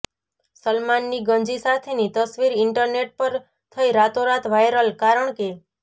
સલમાનની ગંજી સાથેની તસવીર ઇન્ટરનેટ પર થઈ રાતોરાત વાઇરલ કારણ કે